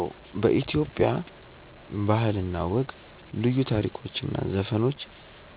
አዎ በኢትዮጵያ ባህል እና ወግ ልዩ ታሪኮች እና ዘፈኖች